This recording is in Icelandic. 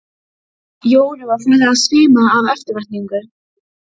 Jóru var farið að svima af eftirvæntingu.